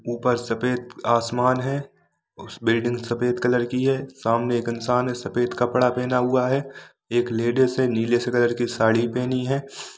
ऊपर सफ़ेद आसमान है उस बिल्डिंग सफ़ेद कलर की है सामने एक इंसान हैसफ़ेद कपडा पहना हुआ है एक लेडीज हैनीले से कलर की साडी पहनी है।